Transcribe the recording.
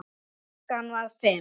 Klukkan var fimm.